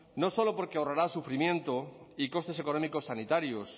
no solo porque ahorrará sufrimiento y costes económicos sanitarios